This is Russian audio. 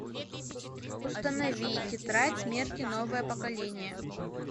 установи тетрадь смерти новое поколение